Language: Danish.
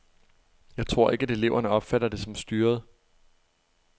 Jeg tror ikke, at eleverne opfatter det som styret.